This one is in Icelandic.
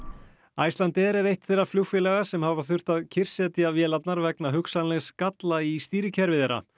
Icelandair er eitt þeirra flugfélaga sem hafa þurft að kyrrsetja vélarnar vegna hugsanlegs galla í stýrikerfi þeirra